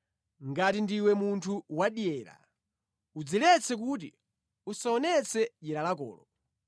ngati ndiwe munthu wadyera udziletse kuti usaonetse dyera lakolo.